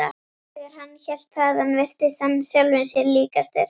Þegar hann hélt þaðan virtist hann sjálfum sér líkastur.